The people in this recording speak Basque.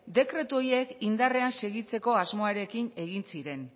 dekretu horiek indarrean segitzeko asmoarekin egin ziren